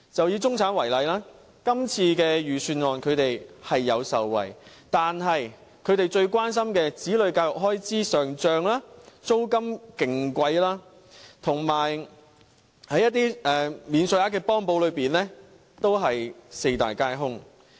以中產為例，今次預算案，他們是有受惠的，但他們最關心子女教育開支上漲、租金非常貴、以及在一些免稅額幫補方面，均是四大皆空的。